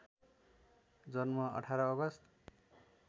जन्म १८ अगस्ट